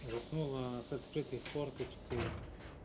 заснула она с открытой форточкой